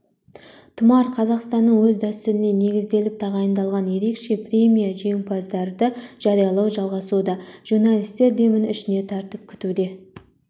тұмар қазақстанның өз дәстүріне негізделіп тағайындалған ерекше премия жеңімпаздарды жариялау жалғасуда журналистер демін ішіне тартып күтуде